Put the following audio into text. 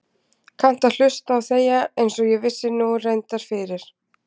Kannt að hlusta og þegja einsog ég vissi nú reyndar fyrir.